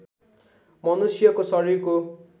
मनुष्यको शरीरको